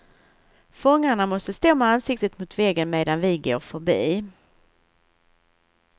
Fångarna måste stå med ansiktet mot väggen medan vi går förbi.